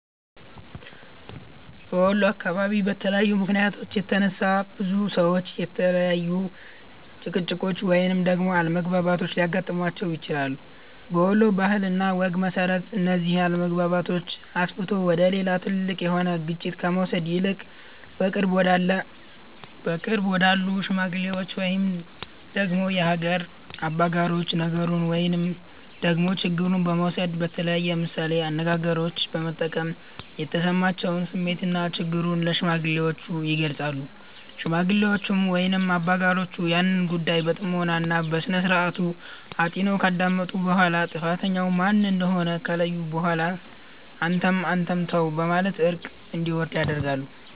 በወሎ አካባቢ በተለያዩ ምክንያቶች የተነሳ፤ ብዙ ሰዎች የተለያዩ ጭቅጭቆች ወይንም ደግሞ አለመግባባቶች ሊያገጥማቸው ይችላል። በወሎ ባህል እና ወግ መሰረት፤ እነዚህን አለመግባባቶች አስፍቶ ወደ ሌላ ትልቅ የሆነ ግጭት ከመውሰድ ይልቅ በቅርብ ወዳሉ ሽማግሎች ወይንም ደግሞ የሀገር አበጋሮች ነገሩን ወይንም ደግሞ ችግሩን በመውሰድ በተለያዩ ምሳሌ አነጋገሮች በመጠቀም የተሰማቸውን ስሜትና ችግሩን ለሽማግሌዎቹ ይገልፃሉ። ሽማግሌዎቹም ወይንም አበጋሮቹም ያንን ጉዳይ በጥሞና እና በስነስርዓቱ አጢነው ካዳመጡ በኋላ ጥፋተኛው ማን እንደሆነ ከለዩ በኋላ አንተም አንተም ተው በማለት እርቅ እንዲወርድ ያደርጋሉ።